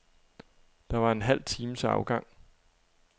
Der var en halv time til afgang.